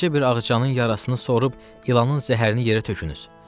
Tezçə bir ağcanın yarısını sorub ilanın zəhərini yerə tökünüz.